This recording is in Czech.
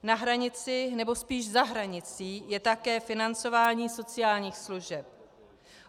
Na hranici nebo spíš za hranicí je také financování sociálních služeb.